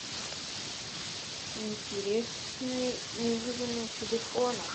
интересные игры на телефонах